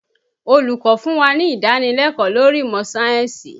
Olùkọ́ fún wá ní ìdánilẹ́kọ̀ọ́ lórí ìmọ̀ sáyẹ̀nsì